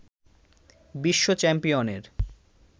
বিশ্ব চ্যাম্পিয়নের